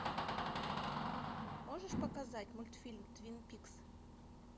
можешь показать мультфильм твин пикс